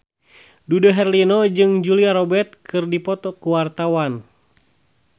Dude Herlino jeung Julia Robert keur dipoto ku wartawan